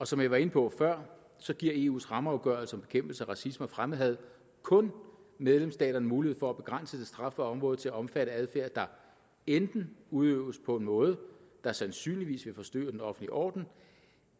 som jeg var inde på før giver eus rammeafgørelse om bekæmpelse af racisme og fremmedhad kun medlemsstaterne mulighed for at begrænse det strafbare område til at omfatte adfærd der enten udøves på en måde der sandsynligvis vil forstyrre den offentlige orden